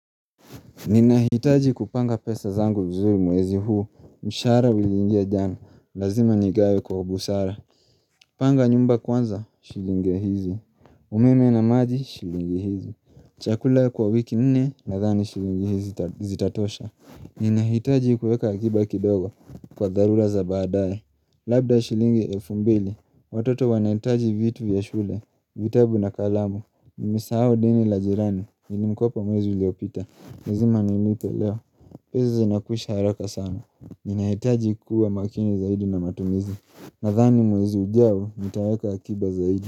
Ninahitaji kupanga pesa zangu vizuri mwezi huu mshahara uliingia jana Lazima nigawe kwa ubusara Panga nyumba kwanza shilingi hizi umeme na maji shilingi hizi Chakula kwa wiki nne Nathani shilingi hizi zita zitatosha Ninahitaji kueka akiba kidogo Kwa dharura za baadae Labda shilingi elfu mbili Watoto wanahitaji vitu vya shule vitabu na kalamu Nimesahao deni la jirani Nilimkopa mwezi uliopita lazima nilipe leo pesa zinakwisha haraka sana Ninahitaji kuwa makini zaidi na matumizi Nathani mwezi ujao nitaweka akiba zaidi.